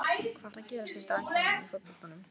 Hvað er að gerast í dag hjá honum í fótboltanum?